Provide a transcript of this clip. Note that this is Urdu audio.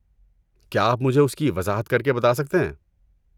کیا آپ مجھے اس کی وضاحت کر کے بتا سکتے ہیں؟